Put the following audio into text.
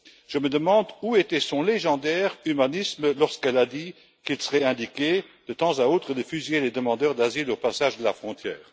Je me demande où était son légendaire humanisme lorsqu'elle a dit qu'il serait indiqué, de temps à autre, de fusiller les demandeurs d'asile au passage de la frontière.